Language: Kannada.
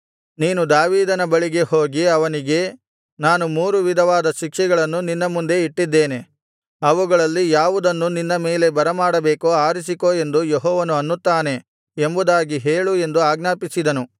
ನೀನು ದಾವೀದನ ಬಳಿ ಹೋಗಿ ಅವನಿಗೆ ನಾನು ಮೂರು ವಿಧವಾದ ಶಿಕ್ಷೆಗಳನ್ನು ನಿನ್ನ ಮುಂದೆ ಇಟ್ಟಿದ್ದೇನೆ ಅವುಗಳಲ್ಲಿ ಯಾವುದನ್ನು ನಿನ್ನ ಮೇಲೆ ಬರಮಾಡಬೇಕೋ ಆರಿಸಿಕೋ ಎಂದು ಯೆಹೋವನು ಅನ್ನುತ್ತಾನೆ ಎಂಬುದಾಗಿ ಹೇಳು ಎಂದು ಆಜ್ಞಾಪಿಸಿದನು